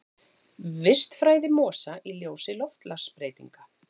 Vistfræði mosa í ljósi loftslagsbreytinga.